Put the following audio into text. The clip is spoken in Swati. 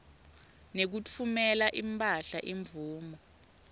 nekutfumela imphahla imvumo